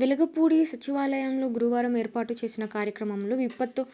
వెలగపూడి సచివాలయంలో గురువారం ఏర్పాటు చేసిన కార్యక్రమంలో విపత్తు